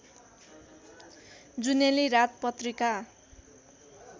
जुनेली रात पत्रिका